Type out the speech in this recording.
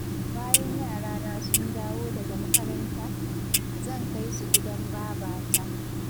Bayan yarana sun dawo daga makaranta, zan kai su gidan babata.